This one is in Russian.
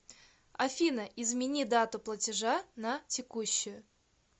афина измени дату платежа на текущую